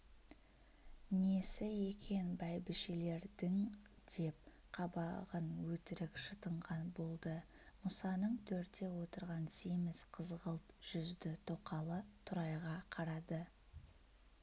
несі екен бәйбішелердің деп қабағын өтірік шытынған болды мұсаның төрде отырған семіз қызғылт жүзді тоқалы тұрайға қарады